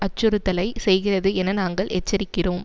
அச்சுறுத்தலை செய்கிறது என நாங்கள் எச்சரிக்கிறோம்